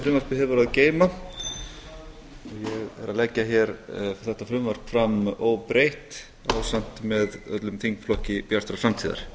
frumvarpið hefur að geyma ég legg þetta frumvarp hér fram óbreytt ásamt með öllum þingflokki bjartrar framtíðar